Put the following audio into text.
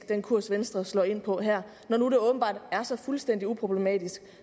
den kurs venstre slår ind på her når nu det åbenbart er så fuldstændig uproblematisk